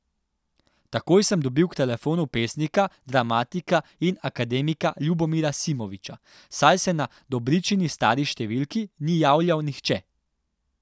Takoj sem dobil k telefonu pesnika, dramatika in akademika Ljubomira Simovića, saj se na Dobričini stari številki ni javljal nihče.